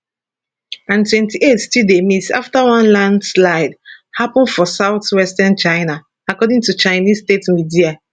and 28 still dey miss afta one lanslide happun for southwestern china according to chinese state media